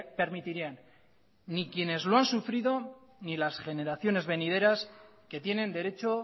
permitirían ni quienes lo han sufrido ni las generaciones venideras que tienen derecho